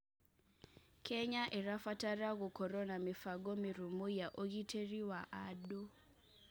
Kenya ĩrabatara gũkorwo na mĩbango mĩrũmu ya ũgitĩri wa andũ.